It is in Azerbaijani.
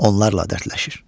Onlarla dərdləşir.